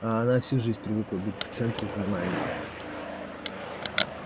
а она всю жизнь привыкла быть в центре внимания